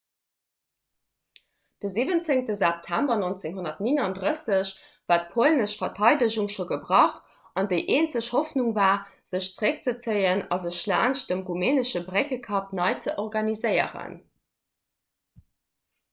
de 17 september 1939 war d'polnesch verteidegung scho gebrach an déi eenzeg hoffnung war sech zeréckzezéien a sech laanscht dem rumänesche bréckekapp nei ze organiséieren